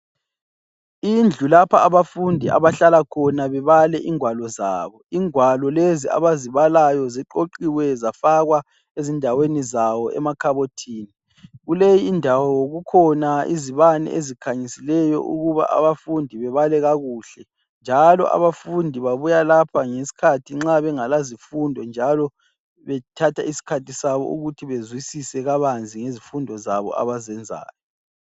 Indlu lapha abafundi abahlala khona bebale igwalo zabo .Igwalo lezi abazibalayo ziqoqiwe zafakwa ezindaweni zawo emakhabothini. Kuleyi indawo kukhona izibane ezikhanyisileyo ukuba abafundi bebale kakuhle, njalo abafundi babuya lapha ngesikhathi nxa bengela zifundo njalo bathatha iskhathi sabo ukuze bezwisise kabanzi ngezifundo zabo abazenzayo.